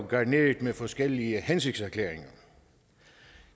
garneret med forskellige hensigtserklæringer